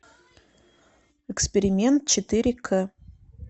эксперимент четыре кэ